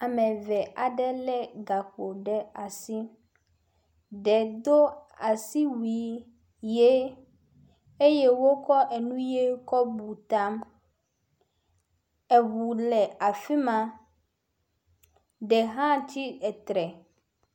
Ame eve aɖe lé gakpo ɖe asi, ɖe do asiwui ʋe eye wokɔ enu ʋe kɔ bu ta. Eŋu le afi ma, ɖe hã tsi etre.